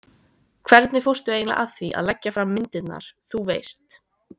hvernig fórstu eiginlega að því að leggja fram myndirnar, þú veist.